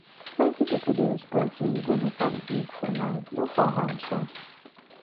plenty pipo dey expect sey you go make am big for life no fall hand sha